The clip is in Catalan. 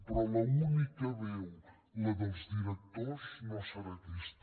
però l’única veu la dels directors no serà aquesta